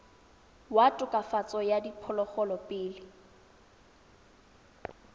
wa tokafatso ya diphologolo pele